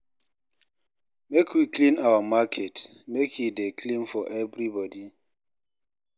Make we clean our market, make e dey clean for everybody.